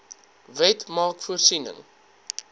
wet maak voorsiening